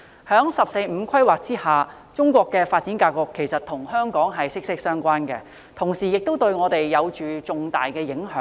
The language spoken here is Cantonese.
在"十四五"規劃下，中國的發展格局與香港息息相關，同時亦對香港有着重大的影響。